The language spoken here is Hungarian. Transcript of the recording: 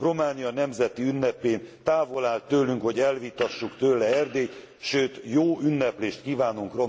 Románia nemzeti ünnepén távol áll tőlünk, hogy elvitassuk tőle Erdélyt, sőt jó ünneplést kívánunk